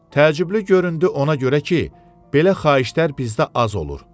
Təəccüblü göründü ona görə ki, belə xahişlər bizdə az olur.